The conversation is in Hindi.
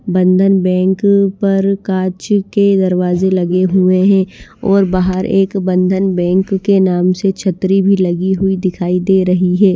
बंधन बँक पर कांच के दरवाजे लगे हुए हैं और बाहर एक बंधन बँक के नाम से छतरी भी लगी हुई दिखाई दे रही है।